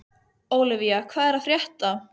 Ólivía, hvað er að frétta?